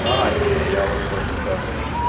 а не я вот просто сейчас